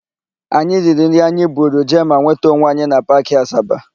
Anyị riri nri anyị buru jee ma nweta onwe anyị na Paakị Asaba.